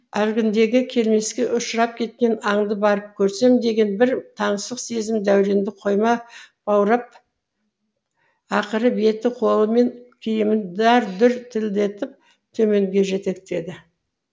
әлгіндегі келмеске ұшырап кеткен аңды барып көрсем деген бір таңсық сезім дәуренді қойма баурап ақыры беті қолы мен киімін дар дұр тілімдетіп төменге жетектеді